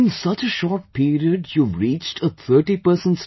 in such a short period you have reached 30 persons team